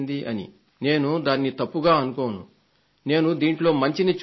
నేను దాన్ని తప్పుగా అనుకోను నేను దీంట్లో మంచిని చూస్తున్నాను